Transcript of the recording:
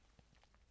DR K